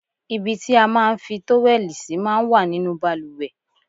Ibi tí a máa ń fi tówẹ́lì sí máa ń wà nínú bàlùwẹ̀.